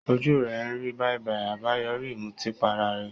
Ojú rẹ̀ ń rí bàìbàì, àbáyoríi ìmutípara rẹ̀